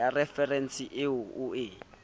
ya referense eo o e